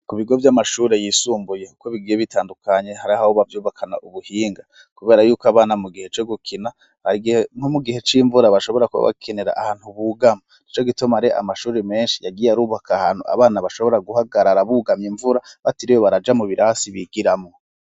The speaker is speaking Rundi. Ku bigo vy'amashure yisumbuye uko bigiye bitandukanye hari aho bavyubakana ubuhinga . Kubera yuko abana mu gihe co gukina nko mu gihe c'imvura bashobora kuba bakenera ahantu bugama nico gitoma ari amashuri menshi yagiye arubaka ahantu abana bashobora guhagarara bugamye imvura batiriwe baraja mu birasi bigiramwo.